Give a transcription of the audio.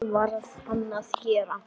Það varð hann að gera.